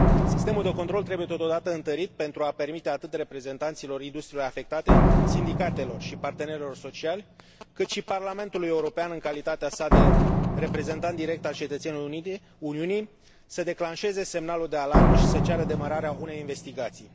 Sistemul de control trebuie totodată întărit pentru a permite atât reprezentanților industriilor afectate, sindicatelor și partenerilor sociali, cât și Parlamentului European în calitatea sa de reprezentant direct al cetățenilor Uniunii, să declanșeze semnalul de alarmă și să ceară demararea unei investigații.